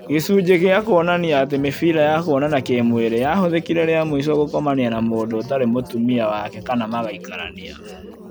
gĩcunjĩ gĩa kuonania atĩ mĩbira ya kuonana kĩ-mwĩrĩ nĩyahũthĩkire rĩamũico gũkomania na mũndũ ũtarĩ mũtumia wake kana magaikarania